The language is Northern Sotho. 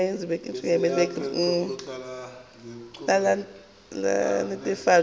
ya lekgotla la netefatšo ya